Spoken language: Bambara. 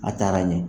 A taara ɲɛ